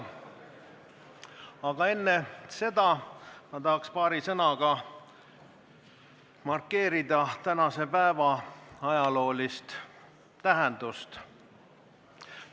Aga enne tahaks ma paari sõnaga markeerida tänase päeva ajaloolist tähendust.